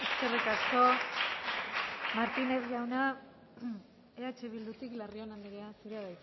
martínez jauna eh bildutik larrion anderea zurea